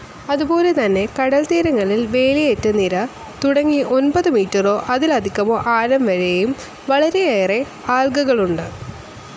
അതുപോലെതന്നെ കടൽത്തീരങ്ങളിൽ വേലിയേറ്റനിര തുടങ്ങി ഒൻപതു മീറ്റേർസ്‌ അതിലധികമോ ആഴം വരേയും വളരേയേറെ ആൽഗകളുണ്ട്.